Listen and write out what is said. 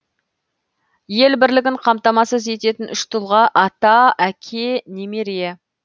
ел бірлігін қамтамасыз ететін үш тұлға ата әке немере